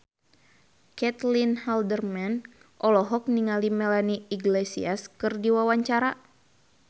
Caitlin Halderman olohok ningali Melanie Iglesias keur diwawancara